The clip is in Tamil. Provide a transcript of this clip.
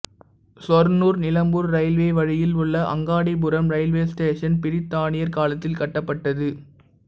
சொர்ண்ணூர் நிலம்பூர் ரயில்வே வழியில் உள்ள அங்காடிபுரம் ரயில்வே ஸ்டேஷன் பிரித்தானியர் காலத்தில் கட்டப்பட்டது